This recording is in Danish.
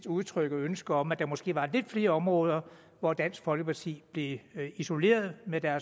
udtrykke ønsket om at der måske var lidt flere områder hvor dansk folkeparti blev isoleret med